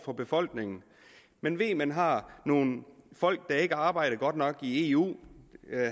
for befolkningen man ved at man har nogle folk der ikke arbejder godt nok i eu